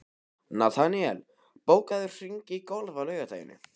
Nataníel, bókaðu hring í golf á laugardaginn.